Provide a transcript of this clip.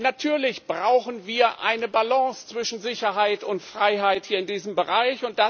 Natürlich brauchen wir eine Balance zwischen Sicherheit und Freiheit hier in diesem Bereich.